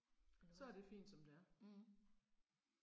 Det er nok også. Mh